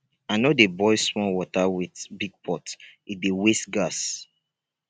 i no dey boil small water with big pot e dey waste gas